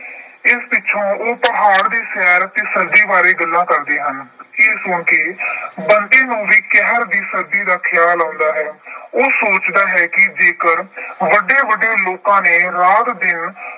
ਇਸ ਪਿੱਛੋਂ ਉਹ ਪਹਾੜ ਦੀ ਸੈਰ ਤੇ ਸਰਦੀ ਬਾਰੇ ਗੱਲਾਂ ਕਰਦੇ ਹਨ। ਇਹ ਸੁਣ ਕੇ ਬੰਤੇ ਨੂੰ ਵੀ ਕਹਿਰ ਦੀ ਸਰਦੀ ਦਾ ਖਿਆਲ ਆਉਂਦਾ ਹੈ। ਉਹ ਸੋਚਦਾ ਹੈ ਕਿ ਜੇ ਵੱਡੇ-ਵੱਡੇ ਲੋਕਾਂ ਨੇ ਰਾਤ-ਦਿਨ